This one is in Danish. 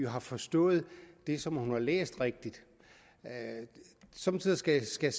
har forstået det som hun har læst rigtigt somme tider skal skal